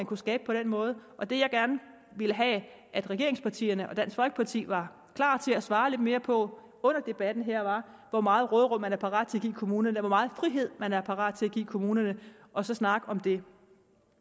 kunne skabes på den måde og det jeg gerne ville have at regeringspartierne og dansk folkeparti var klar til at svare lidt mere på under debatten her var hvor meget råderum man er parat til at give kommunerne hvor meget frihed man er parat til give kommunerne og så snakke om det det